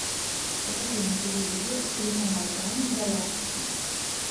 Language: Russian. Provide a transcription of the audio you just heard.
покажи на телевизоре телеканал тайны галактики